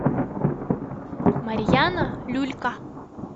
марьяна люлька